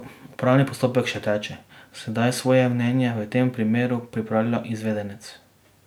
Upravni postopek še teče, sedaj svoje mnenje v tem primeru pripravlja izvedenec.